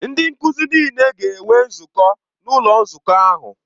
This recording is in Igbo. Ndị nkuzi niile ga-enwe nzukọ n'ụlọ nzukọ ahụ.